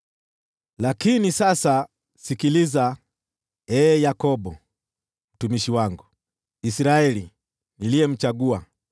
“Lakini sasa sikiliza, ee Yakobo, mtumishi wangu, Israeli, niliyemchagua.